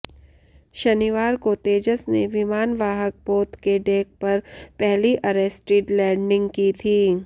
शनिवार को तेजस ने विमानवाहक पोत के डेक पर पहली अरेस्टिड लैंडिंग की थी